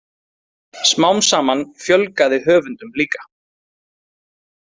Smám saman fjölgaði höfundum líka.